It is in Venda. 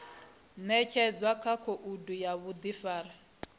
ṅetshedzwa kha khoudu ya vhuḓifari